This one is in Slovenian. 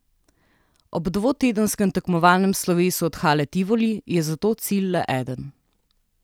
Ob dvotedenskem tekmovalnem slovesu od hale Tivoli je zato cilj le eden.